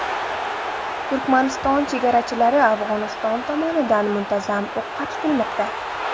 Turkmaniston chegarachilari Afg‘oniston tomonidan muntazam o‘qqa tutilmoqda.